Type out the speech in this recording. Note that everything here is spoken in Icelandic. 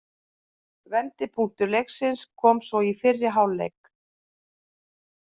Vendipunktur leiksins kom svo í fyrri hálfleik.